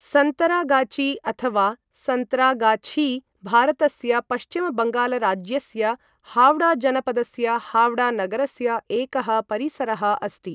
सन्तरागाची, अथवा सन्तरागाछी, भारतस्य पश्चिमबङ्गालराज्यस्य हाव्ड़ाजनपदस्य हाव्ड़ा नगरस्य एकः परिसरः अस्ति।